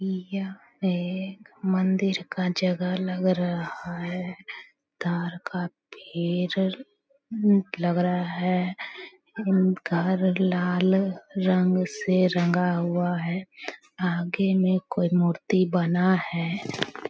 यह एक मंदिर का जगह लग रहा है ताड़ का पेड़ लग रहा है घर लाल रंग से रंगा हुआ है आगे में कोई मूर्ति बना है ।